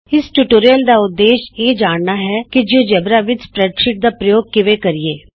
ਇਸ ਟਿਯੂਟੋਰਿਅਲ ਦਾ ਉਦੇਸ਼ ਇਹ ਜਾਣਨਾ ਹੈ ਕਿ ਜਿਉਜੇਬਰਾ ਵਿਚ ਸਪਰੈਡਸ਼ੀਟ ਦਾ ਪ੍ਰਯੋਗ ਕਿਵੇਂ ਕਰੀਏ